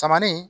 Samanin